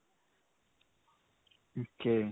ok.